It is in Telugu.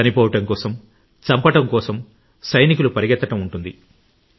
చనిపోవడం కోసం చంపడం కోసం సైనికులు పరుగెత్తడం ఉంటుంది